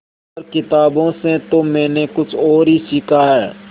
पर किताबों से तो मैंने कुछ और ही सीखा है